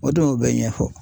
O de y'o bɛɛ ɲɛfɔ